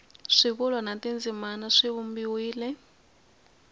swivulwa na tindzimana swi vumbiwile